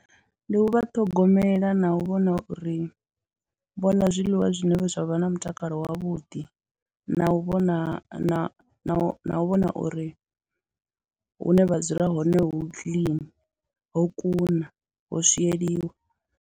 Ndi u vha ṱhogomela na u vhona uri vho ḽa zwiḽiwa zwine zwa vha na mutakalo wavhuḓi na u vhona na u vhona uri hune vha dzula hone hu clean, ho kuna, ho swieliwa.